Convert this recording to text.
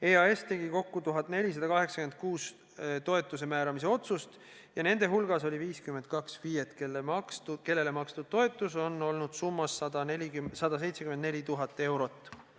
EAS tegi kokku 1486 toetuse määramise otsust ja nende hulgas oli 52 FIE-t, kellele makstud toetus on olnud summas 174 000 eurot.